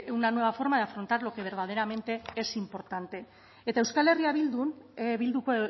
una nueva forma de afrontar lo que verdaderamente es importante eta euskal herria bilduko